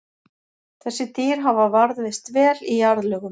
Þessi dýr hafa varðveist vel í jarðlögum.